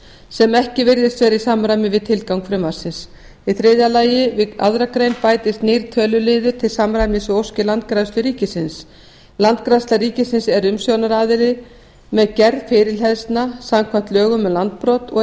sem ekki virðist vera í samræmi við tilgang frumvarpsins í þriðja lagi við aðra grein bætist nýr töluliður til samræmis við óskir landgræðslu ríkisins landgræðsla ríkisins er umsjónaraðili með gerð fyrirhleðslna samkvæmt lögum um landbrot og